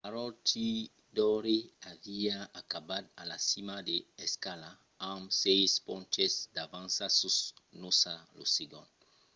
maroochydore aviá acabat a la cima de l'escala amb sièis ponches d'avança sus noosa lo segond